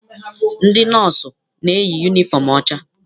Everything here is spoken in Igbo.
Ndị nọọsụ na-eyi yunifọm ọcha.